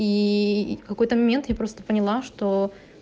и в какой-то момент я просто поняла что